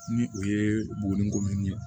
Ni o ye bomini ko min ye